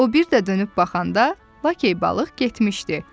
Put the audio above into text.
O bir də dönüb baxanda Lakey balıq getmişdi.